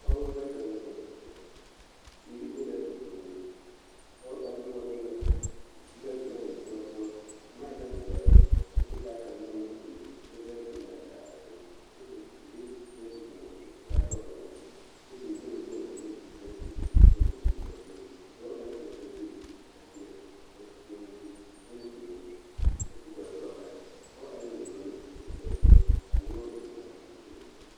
Pɔgeba bata la be a kyɛ teere be la ba puoriŋ a pɔge ka noɔreŋ la de boma eŋ noɔreŋ poɔ a boma e la doɔ kyɛ ka o taa kaŋ meŋ ne o nu kyɛ sege tudaa kyaare a noɔreŋ zu kyɛ tie o seɛ